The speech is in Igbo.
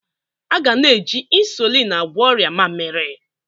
A ga na-eji ịnsụlịn agwọ ọrịa mmaamiri.